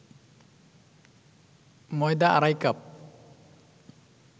ময়দা আড়াই কাপ